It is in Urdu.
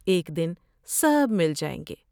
ایک دن سب مل جائیں گے ۔